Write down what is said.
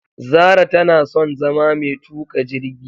Zara tanason zama metuka jirgi